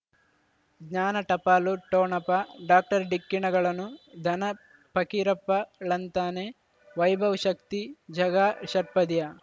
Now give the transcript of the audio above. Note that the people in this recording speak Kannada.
ಜ್ಞಾನ ಟಪಾಲು ಠೊಣಪ ಡಾಕ್ಟರ್ ಢಿಕ್ಕಿ ಣಗಳನು ಧನ ಫಕೀರಪ್ಪ ಳಂತಾನೆ ವೈಭವ್ ಶಕ್ತಿ ಝಗಾ ಷಟ್ಪದಿಯ